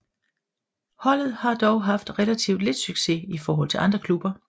Holdet har dog haft relativt lidt succes i forhold til andre klubber